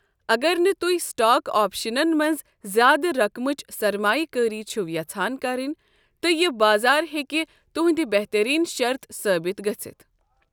اگر نہٕ تُہۍ سٹاک آپشنَن منٛز زیادٕ رقمٕچ سرمایہِ کٲرِی چھِو یژھان کٔرٕنۍ تہٕ یہٕ بازَر ہیکہِ تُہنٛد بہتریین شَرٕت ثٲبت گژھِتھ۔